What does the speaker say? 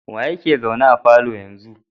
Wa yeke zaune a falon a yanzu?